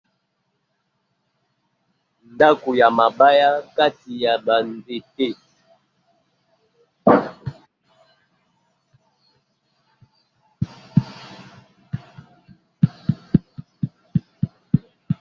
Ndako ya mabaya kati ya bandete.